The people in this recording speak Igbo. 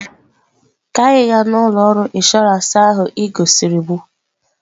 Ka anyị gaa na ụlọ ọrụ inshọransị ahụ ị gosiri m!